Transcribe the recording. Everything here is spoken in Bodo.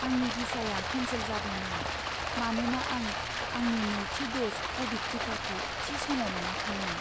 आंनि भिसाया केन्सेल जादोंमोन, मानोना आं आंनि नैथि द'ज क'विड टिकाखौ थि समाव मोनाखैमोन।